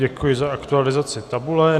Děkuji za aktualizaci tabule.